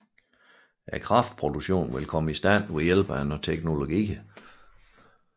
Kraftproduktionen vil komme i stand ved hjælp af en række teknologier